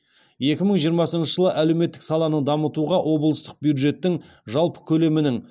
екі мың жиырмасыншы жылы әлеуметтік саланы дамытуға облыстық бюджеттің жалпы көлемінің